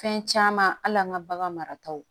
Fɛn caman hali an ka bagan marataw